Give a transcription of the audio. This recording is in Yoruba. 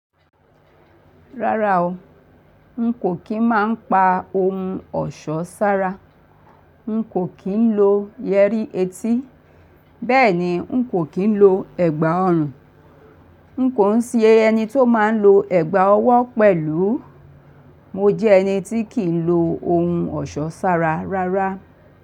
Rárá o, n kò kín máa ń pa ohun ọ̀ṣọ́ sára, n kò kí ń lo yẹrí etí, bẹ́ẹ̀ ni n kò kí ń lo ẹ̀gbà ọrùn. N kò ń sin ẹni tó máa ń lo ẹ̀gbà ọwọ́ pẹ̀lú. Mo jẹ́ ẹni tí kì í lo ohun ọ̀ṣọ́ sára rárá.